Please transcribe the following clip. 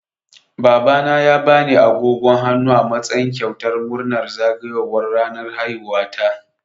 Babana ya bani agogon hannu a matsayin kyautar murnar zagayowar ranar haihuwata.